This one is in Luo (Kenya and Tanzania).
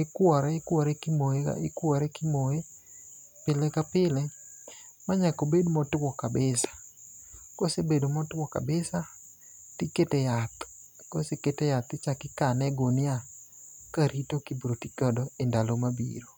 Ikwore ikwore eka imoye pile ka pile ma nyaka obed motuwo kabisa. Kosebedo motuwo kabisa, tikete yath. Koseket e yath ichako ikane e gunia, ka rito kibro ti kode e ndalo mabiro.